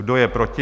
Kdo je proti?